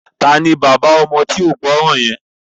Taani bàbá ọmọ tí ó gbọ́ràn yẹn?